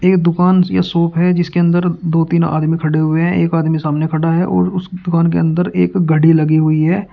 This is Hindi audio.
एक दुकान या शॉप है जिसके अंदर दो तीन आदमी खड़े हुए हैं एक आदमी सामने खड़ा है और उस दुकान के अंदर एक घड़ी लगी हुई है।